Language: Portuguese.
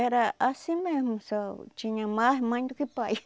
Era assim mesmo, só tinha mais mãe do que pai.